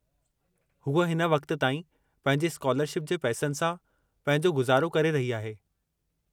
हूअ हिन वक़्त ताईं पंहिंजी स्कॉलरशिप जे पैसनि सां पंहिंजो गुज़ारो करे रही आहे।